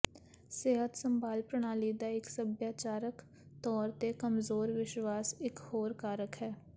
ਸਿਹਤ ਸੰਭਾਲ ਪ੍ਰਣਾਲੀ ਦਾ ਇੱਕ ਸੱਭਿਆਚਾਰਕ ਤੌਰ ਤੇ ਕਮਜ਼ੋਰ ਵਿਸ਼ਵਾਸ ਇੱਕ ਹੋਰ ਕਾਰਕ ਹੈ